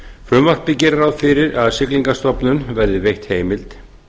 frumvarpið gerir ráð fyrir að siglingastofnun verði veitt heimild